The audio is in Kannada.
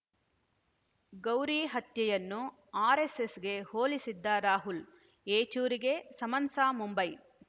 ಗೌರಿ ಹತ್ಯೆಯನ್ನು ಆರೆಸ್ಸೆಸ್‌ಗೆ ಹೋಲಿಸಿದ್ದ ರಾಹುಲ್‌ ಯೆಚೂರಿಗೆ ಸಮನ್ಸಾ ಮುಂಬೈ